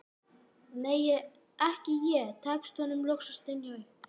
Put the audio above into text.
nei, ekki ég, tekst honum loks að stynja upp.